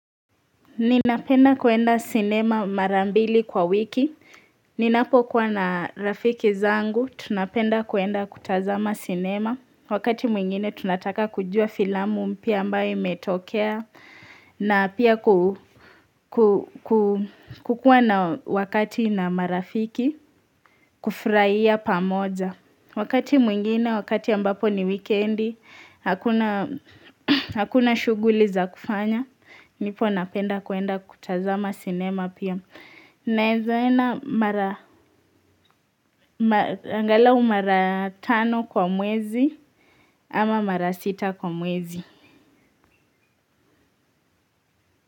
Ninapenda kwenda sinema mara mbili kwa wiki. Ninapokuwa na rafiki zangu, tunapenda kuenda kutazama sinema. Wakati mwingine tunataka kujua filamu mpya ambayo imetokea na pia kukuwa na wakati na marafiki kufurahia pamoja Wakati mwingine, wakati ambapo ni wikendi, hakuna shughuli za kufanya. Ndipo napenda kwenda kutazama sinema pia. Naweza enda mara, angalau mara tano kwa mwezi ama mara sita kwa mwezi.